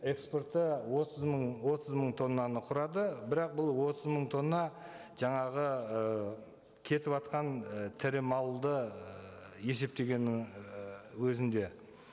экспорты отыз мың отыз мың тоннаны құрады бірақ бұл отыз мың тонна жаңағы ы кетіватқан і тірі малды ііі есептегеннің і өзінде